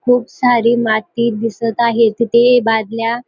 खूप सारी माती दिसत आहे. तिथे बादल्या --